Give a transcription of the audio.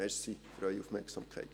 Danke für Ihre Aufmerksamkeit.